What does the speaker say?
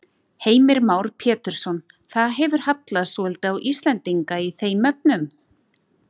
Heimir Már Pétursson: Það hefur hallað svolítið á Íslendinga í þeim efnum?